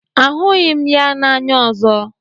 Ahụghị m ya n'anya ọzọ.